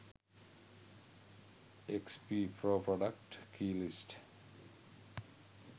xp pro product key list